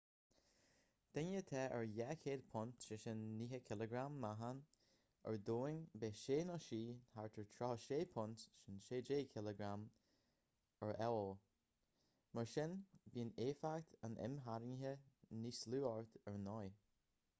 duine atá 200 punt 90kg meáchain ar domhan bheadh sé/sí thart ar 36 punt 16kg ar io. mar sin bíonn éifeacht an imtharraingthe níos lú ort ar ndóigh